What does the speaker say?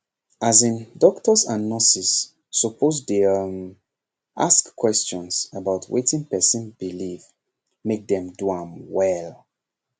as in doctors and nurses suppose dey um ask questions about wetin person believe make dem do am well